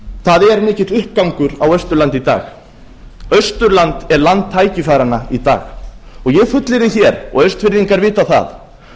það er mikill uppgangur á austurlandi í dag austurland er land tækifæranna í dag og ég fullyrði hér og austfirðingar vita það